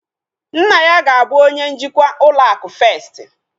Nna ya ga-abu onye njikwa ụlọ akụ festi